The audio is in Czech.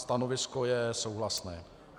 Stanovisko je souhlasné.